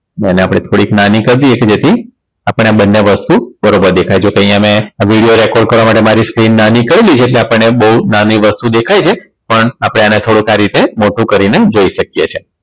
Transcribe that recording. એને આપણે થોડીક નાની કર દઈએ કે જેથી આપણને બંને વસ્તુ બરોબર દેખાય જો કે અહીંયા મેં આ video record કરવા માટે મારી screen નાની કરેલી છે એટલે આપણને બહુ નાની વસ્તુ દેખાય છે પણ આપણે આને થોડુંક આ રીતે મોટું કરીને જોઈ શકીએ છીએ